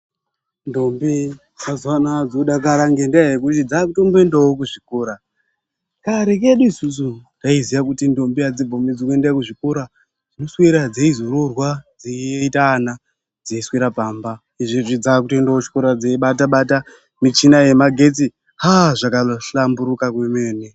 Ndombi mazuwa anaya dzodakara ngendaa yekuti dzzakutomboendawo kuzvikora. Kare kedu isusu, taiziya kuti ndombi adzibvumidzwi kuenda kuzvikora, dzinoswera dzeizoroorwa, dzeiita ana, dzeiswera pamba. Izvezvi dzaakubata-bata michina yemagetsi. Aaa zvakahlamburika kwemene.